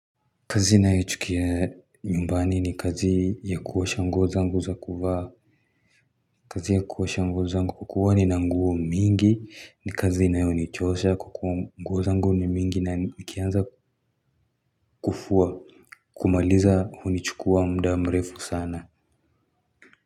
Kazi nayo ichukia nyumbani ni kazi ya kuosha nguo zangu za kuvaa kazi ya kuosha nguo za ngu kwa kuwa ni na nguo mingi ni kazi inayo ni chosha kwa kuwa nguo zangu ni mingi na nikianza kufua kumaliza huu ni chukua mda mrefu sana.